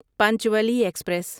پانچوالے express